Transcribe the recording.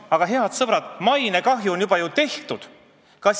Aga, head sõbrad, mainekahju on juba ju tehtud!